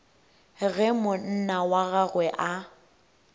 ge monna wa gagwe a